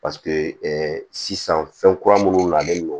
Paseke sisan fɛn kura minnu nalen no